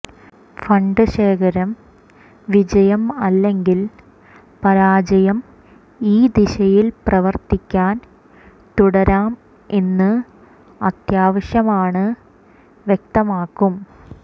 fund ശേഖരം വിജയം അല്ലെങ്കിൽ പരാജയം ഈ ദിശയിൽ പ്രവർത്തിക്കാൻ തുടരാൻ എന്ന് അത്യാവശ്യമാണ് വ്യക്തമാകും